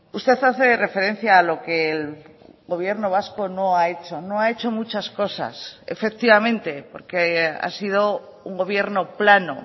usted hace referencia a lo que el gobierno vasco no ha hecho no ha hecho muchas cosas efectivamente porque ha sido un gobierno plano